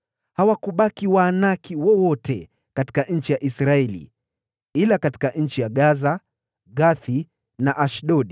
Hawakubaki Waanaki wowote katika nchi ya Israeli, ila tu katika nchi ya Gaza, Gathi na Ashdodi.